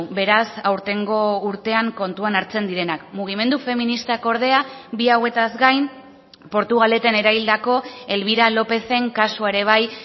beraz aurtengo urtean kontuan hartzen direnak mugimendu feministak ordea bi hauetaz gain portugaleten eraildako elvira lópezen kasua ere bai